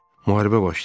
Müharibə başlayıb.